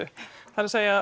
það er